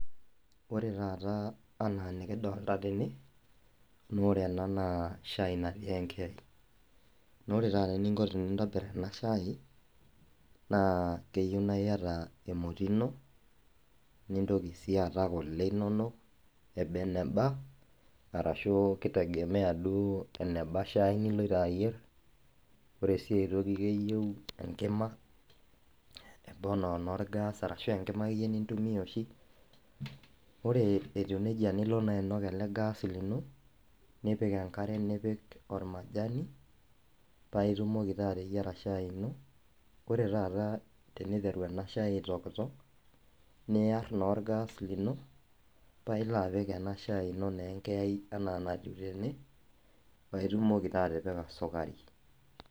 Ore taata anaa nikidolita tene, na ore ena naa shai enkera. naa ore taata eninko tenintobir ena shai na keyeu na ieta emoti ino, nintoki sii aata kule inono, ebee nebaa arashu keitegemea duo enebaa shai niloto aiyer, ore si aaitoki keyeu enkima, neba ana naa orgaas arashu enkima ake iyie nintumiya oshi. O re etiu neja nilo naa ainuak ale gaaas lino, nipik enkare, nipik ormajani paa itumoki taa ateyara eshai ino. Ore taata teneiteru ena shai aitokitok, niyar naa orgaas lino paa ilo apik naa ena shai ino enkeai enaa netiu tene paa itumoki taa atipika sukari.